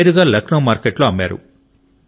నేరుగా లక్నో మార్కెట్ లో అమ్మారు